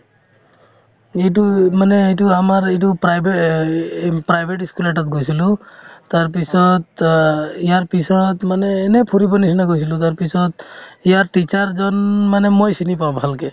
এইটোয়ে মানে এইটো আমাৰ এইটো private~ private ই school ত এটাত গৈছিলো তাৰপিছত অ ইয়াৰ পিছত মানে এনে ফুৰিবৰ নিচিনা গৈছিলো তাৰপিছত ইয়াৰ teacher এজন মানে মই চিনি পাওঁ ভালকে